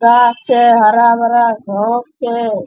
गाछ छै हरा-भरा घास छै।